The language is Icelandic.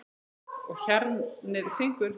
Og hjarnið syngur.